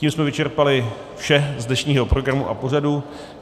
Tím jsme vyčerpali vše z dnešního programu a pořadu.